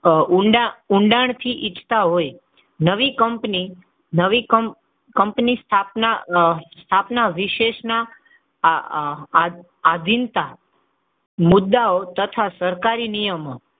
ઊંડા ઊંડાણ થી ઈચ્છતા હોય, નવી કંપનીની સ્થાપના વિશેષના આહ આધીનતા મુદ્દાઓ તથા સરકારી નિયમો,